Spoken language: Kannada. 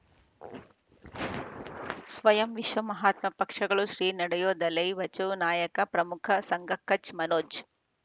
ಸ್ವಯಂ ವಿಶ್ವ ಮಹಾತ್ಮ ಪಕ್ಷಗಳು ಶ್ರೀ ನಡೆಯೂ ದಲೈ ಬಚೌ ನಾಯಕ ಪ್ರಮುಖ ಸಂಘ ಕಚ್ ಮನೋಜ್